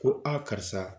Ko a karisa